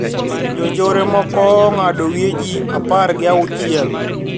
Jonjore moko ong`ado wiye ji apar gi auchiel